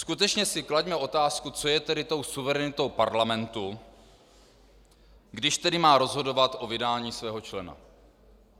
Skutečně si klaďme otázku, co je tedy tou suverenitou parlamentu, když tedy má rozhodovat o vydání svého člena.